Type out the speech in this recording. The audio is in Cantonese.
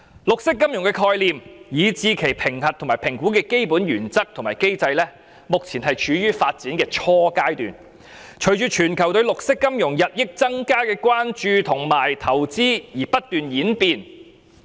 綠色金融的概念，以至其評核與評估的基本原則及機制，目前正處於發展初階，並隨着全球對綠色金融日益增加的關注和投資而不斷演變。